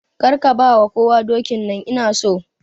Kar ka ba kowa dokin nan! Ina so.